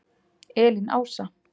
Elín Ása.